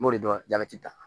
M'o de dɔn jabɛti ta